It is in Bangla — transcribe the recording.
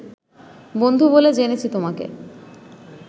বন্ধু বলে জেনেছি তোমাকে